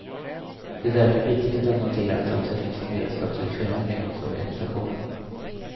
Det är därför viktigt att notera att det också finns en beredskap till förändring hos organisationen.